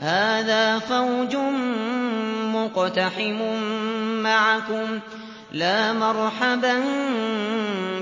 هَٰذَا فَوْجٌ مُّقْتَحِمٌ مَّعَكُمْ ۖ لَا مَرْحَبًا